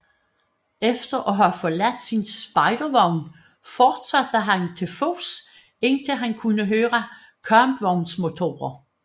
Efter at have forladt sin spejdervogn fortsatte han til fods indtil han kunne høre kampvognsmotorer